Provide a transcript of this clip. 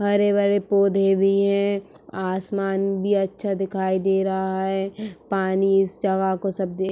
हरे भरे पौधे भी है। आसमान भी अच्छा दिखाई दे रहा है। पानी इस जगह को सब देख --